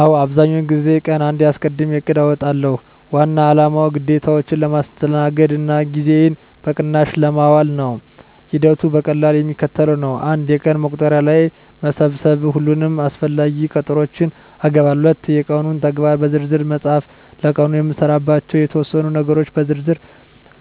አዎ፣ አብዛኛውን ጊዜ ቀንዴን አስቀድሜ እቅድ አውጣለሁ። ዋና አላማው ግዴታዎቼን ለማስተናገድ እና ጊዜዬን በቅናሽ ለማዋል ነው። ሂደቱ በቀላሉ የሚከተለው ነው፦ 1. የቀን መቁጠሪያ ላይ መሰብሰብ ሁሉንም አስፈላጊ ቀጠሮዎቼን እገባለሁ። 2. የቀኑን ተግባራት በዝርዝር መፃፍ ለቀኑ የምሰራባቸውን የተወሰኑ ነገሮች በዝርዝር